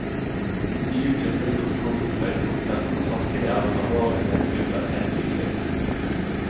De utgjør filmens komiske høydepunkter, og samtidig er den alvorlige mening under helt tydelig.